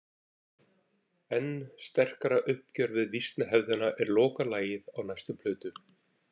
Enn sterkara uppgjör við vísnahefðina er lokalagið á næstu plötu.